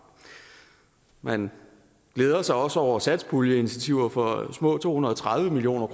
man glæder sig også over satspuljeinitiativer for små to hundrede og tredive million